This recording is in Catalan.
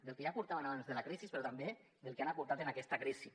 del que ja aportaven abans de la crisi però també del que han aportat en aquesta crisi